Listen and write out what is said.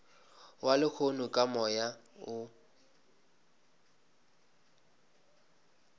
wa lehono ka moya o